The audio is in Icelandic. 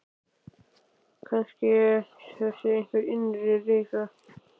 Kannski það sé einhver innri reisa.